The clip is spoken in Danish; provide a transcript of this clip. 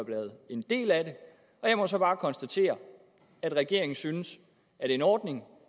været en del af det og jeg må så bare konstatere at regeringen synes at en ordning